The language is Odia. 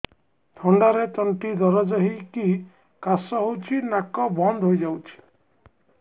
ଥଣ୍ଡାରେ ତଣ୍ଟି ଦରଜ ହେଇକି କାଶ ହଉଚି ନାକ ବନ୍ଦ ହୋଇଯାଉଛି